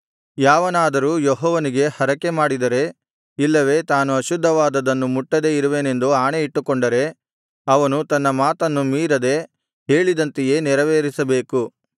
ಯಾವನಾದರೂ ಯೆಹೋವನಿಗೆ ಹರಕೆ ಮಾಡಿದರೆ ಇಲ್ಲವೆ ತಾನು ಅಶುದ್ಧವಾದುದನ್ನು ಮುಟ್ಟದೆ ಇರುವೆನೆಂದು ಆಣೆಯಿಟ್ಟುಕೊಂಡರೆ ಅವನು ತನ್ನ ಮಾತನ್ನು ಮೀರದೆ ಹೇಳಿದಂತೆಯೇ ನೆರವೇರಿಸಬೇಕು